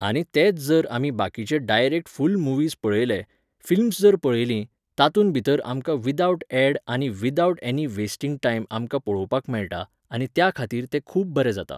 आनी तेच जर आमी बाकीचे डायरेक्ट फुल्ल मुव्हीज पळयले, फिल्म्स जर पळयलीं, तातूंत भितर आमकां विदावट ऍड आनी विदावट एनी वेस्टिंग टायम आमकां पळोवपाक मेळटा आनी त्या खातीर तें खूब बरें जाता